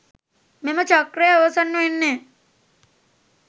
මෙම චක්‍රය අවසන් වෙන්නෙ